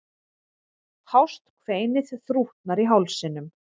Hást kveinið þrútnar í hálsinum.